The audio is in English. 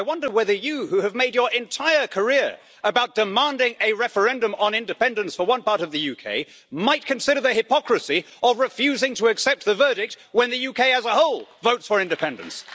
I wonder whether you, Mr Smith, who have made your entire career about demanding a referendum on independence for one part of the UK, might consider the hypocrisy of refusing to accept the verdict when the UK as a whole votes for independence.